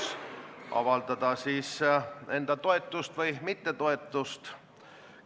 Selles suunas, mida ta oma vastustes rõhutas nii väliskomisjoni ees kui ka mitmes intervjuus, mis ta pärast viimast koosolekut andis.